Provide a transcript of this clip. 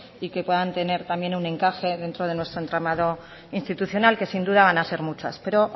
y que puedan tener un encaje dentro de nuestro entramado interinstitucional que sin duda van a ser muchas pero